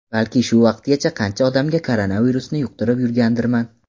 Balki shu vaqtgacha qancha odamga koronavirusni yuqtirib yurgandirman?